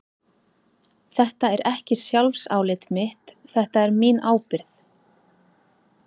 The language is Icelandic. Þetta er ekki sjálfsálit mitt, þetta er mín ábyrgð.